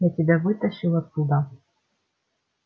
я тебя вытащил оттуда